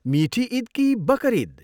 मिठी इद कि बकर इद?